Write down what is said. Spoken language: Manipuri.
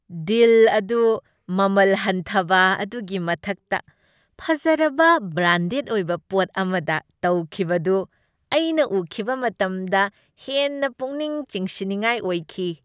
ꯗꯤꯜ ꯑꯗꯨ ꯃꯃꯜ ꯍꯟꯊꯕ ꯑꯗꯨꯒꯤ ꯃꯊꯛꯇ ꯐꯖꯔꯕ, ꯕ꯭ꯔꯥꯟꯗꯦꯗ ꯑꯣꯏꯕ ꯄꯣꯠ ꯑꯃꯗ ꯇꯧꯈꯤꯕꯗꯨ ꯑꯩꯅ ꯎꯈꯤꯕ ꯃꯇꯝꯗ ꯍꯦꯟꯅ ꯄꯨꯛꯅꯤꯡ ꯆꯤꯡꯁꯤꯟꯅꯤꯡꯉꯥꯏ ꯑꯣꯏꯈꯤ꯫